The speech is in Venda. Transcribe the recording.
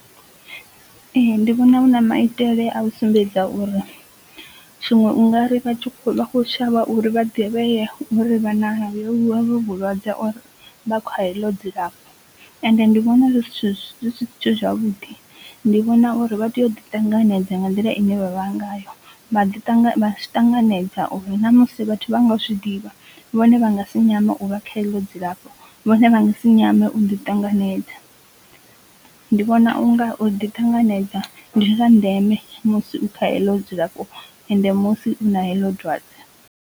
Ee ndi vhona hu na maitele a u sumbedza uri tshiṅwe u nga ri vha kho shavha uri vha ḓivhea uri vha na ho vho vhulwadze or vha kha heḽo dzilafho, ende ndi vhona zwi zwithu zwi si zwithu zwavhuḓi ndi vhona uri vha tea u ḓi ṱanganedza nga nḓila ine vha vha ngayo vha ḓi tangana vha ḓi ṱanganedza uri na musi vhathu vha nga zwi ḓivha vhone vha nga si nyama u vha kha i ḽo dzilafho vhone vha ngasi nyame u ḓi ṱanganedza. Ndi vhona unga u ḓi ṱanganedza ndi zwa ndeme musi u kha heḽo dzilafho ende musi u na heḽo dwadze.